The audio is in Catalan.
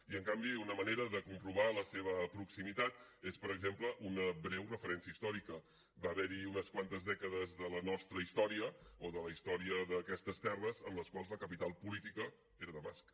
i en canvi una manera de comprovar la seva proximitat és per exemple una breu referència històrica va haver hi unes quantes dècades de la nostra història o de la història d’aquestes terres en les quals la capital política era damasc